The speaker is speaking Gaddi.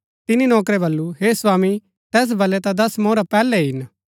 तिनी नौकरै वलु हे स्वामी तैस वलै ता दस मोहरा पैहलै ही हिन